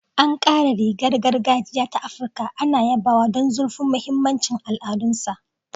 Ankara, rigar gargajiya ta Afirka, ana yabawa don zurfin mahimmancin al'adunsa.